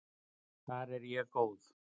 Þar er ég góð.